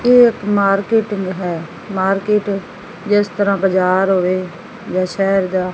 ਇਹ ਇੱਕ ਮਾਰਕੀਟ ਹੈ ਜਿਸ ਤਰ੍ਹਾਂ ਬਾਜ਼ਾਰ ਹੋਵੇ ਜਾਂ ਸ਼ਹਿਰ ਜਾ--